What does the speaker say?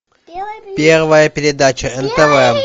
первая передача нтв